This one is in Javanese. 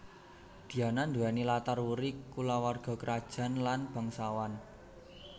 Diana nduwèni latar wuri kulawarga krajaan lan bangsawan